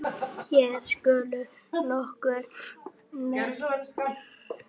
Hér skulu nokkur nefnd